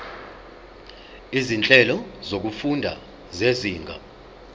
izinhlelo zokufunda zezinga